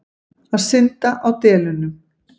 Að synda á delunum.